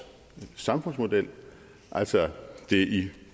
samfundsmodel altså det i